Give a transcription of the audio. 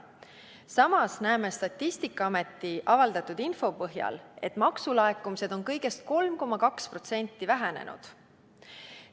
Samas näeme Statistikaameti avaldatud info põhjal, et maksulaekumised on kõigest 3,2% vähenenud.